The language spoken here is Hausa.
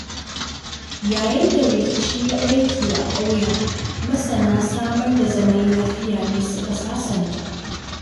Yayin da rikici ya ɓarke a ƙauyen, masana samar da zaman lafiya ne suka sasanta.